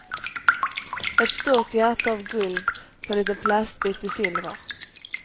Ett stort hjärta av guld på en liten plastbit i silver.